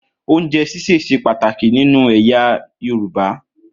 Ounjẹ ṣíṣe ṣe pàtàkì ni inú ẹyà yorùbá.